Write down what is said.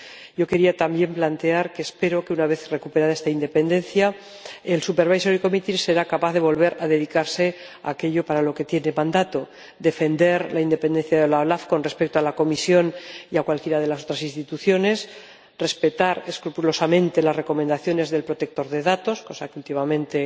Yo quería también plantear que espero que, una vez recuperada esta independencia, el Comité de Vigilancia sea capaz de volver a dedicarse a aquello para lo que tiene mandato defender la independencia de la OLAF con respecto a la Comisión y a cualquiera de las otras instituciones, respetar escrupulosamente las recomendaciones del Supervisor Europeo de Protección de Datos —cosa que últimamente